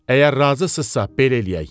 Əgər razısızsa, belə eləyək.